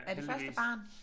Er det første barn?